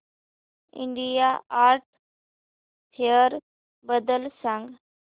India art fair बद्दल सांग